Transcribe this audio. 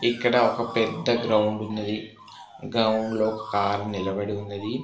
ఇక్కడ ఒక పెద్ద గ్రౌండ్ ఉన్నది గ్రౌండ్లో లో కార్ నిలబడి ఉన్నది.